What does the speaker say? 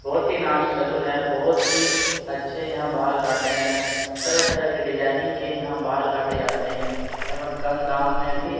बहुत ही नामी सैलून है बहुत ही अच्छे यहाँ बाल काटते हैं तरह-तरह के डिजाइनिंग के यहाँ बाल काटे जाते हैं एवं कम दाम में भी--